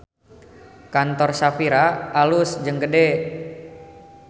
Kantor Shafira alus jeung gede